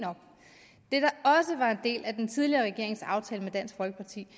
del af den tidligere regerings aftale med dansk folkeparti